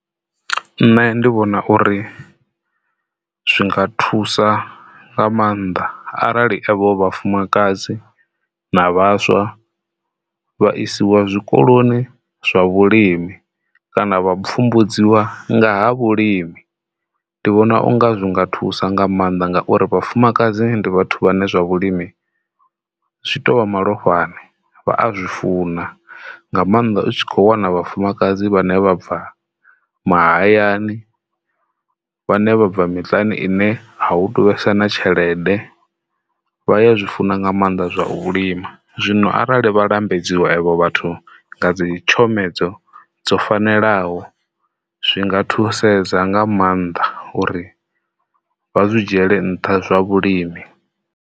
Nṋe ndi vhona uri zwi nga thusa nga maanḓa arali evho vhafumakadzi na vhaswa vha isiwa zwikoloni zwa vhulimi kana vha pfhumbudziwa nga ha vhulimi, ndi vhona unga zwi nga thusa nga maanḓa, ngauri vhafumakadzi ndi vhathu vhane zwa vhulimi zwi to vha malofhani vha a zwi funa. Nga maanḓa u tshi kho wana vhafumakadzi vhane vha bva mahayani vhane vha bva miṱani ine hu tu vhesa na tshelede vha ya zwi funa nga maanḓa zwa vhulimi zwino arali vha lambedziwe avho vhathu nga dzitshomedzo dzo fanelaho zwinga thusedza nga maanḓa uri vha zwi dzhiyele nṱha zwa vhulimi.